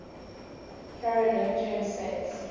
carolingian saints